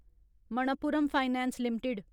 Manappuram Finance limited